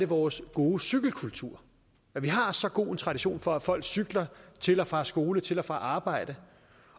vores gode cykelkultur vi har så god en tradition for at folk cykler til og fra skole til og fra arbejde